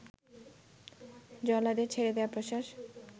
জল্লাদের ছেড়ে দেয়া প্রশ্বাস